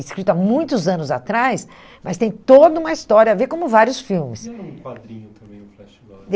Escrito há muitos anos atrás, mas tem toda uma história a ver, como vários filmes. E era um quadrinho também o flash gordon.